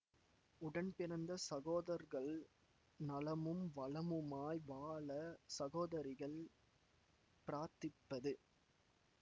உடன்பிறந்த சகோதர்கள் நலமும் வளமுமாய் வாழ சகோதரிகள் பிராத்திப்பது